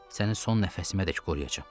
Səni son nəfəsimədək qoruyacam.